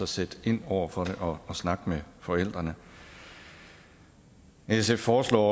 sætte ind over for det og snakke med forældrene sf foreslår